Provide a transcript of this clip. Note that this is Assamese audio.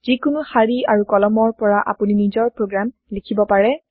যিকোনো শাৰী বা কলমৰ পৰা আপুনি নিজৰ প্ৰগ্ৰেম লিখিব পাৰে